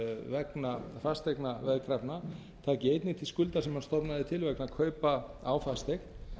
vegna fasteignaveðkrafna taki einnig til skulda sem hann stofnaði til vegna kaupa á fasteign